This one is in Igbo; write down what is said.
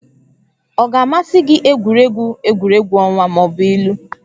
Ọ ga-amasị gị egwuregwu egwuregwu ọnwa ma ọ bụ ilu?